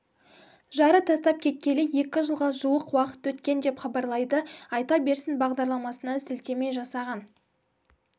жары тастап кеткелі екі жылға жуық уақыт өткен деп хабарлайды айта берсін бағдарламасына сілтеме жасаған